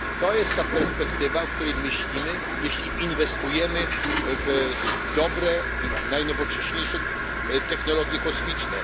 Jest to perspektywa, o której myślimy, jeśli inwestujemy w dobre, najnowocześniejsze technologie kosmiczne.